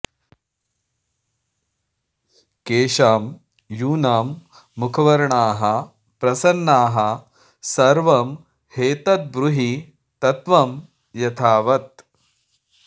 केषां यूनां मुखवर्णाः प्रसन्नाः सर्वं ह्येतद्ब्रूहि तत्त्वं यथावत्